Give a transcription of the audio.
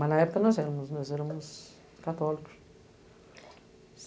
Mas na época nós éramos, nós éramos católicos.